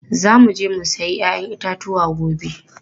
Za mu je mu sayi 'ya'yan itatuwa gobe.